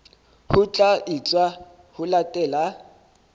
ho tla etswa ho latela